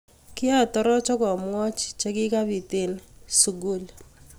Kiatoroch akamwochi che kikabiit eng suskul